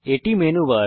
এটি মেনুবার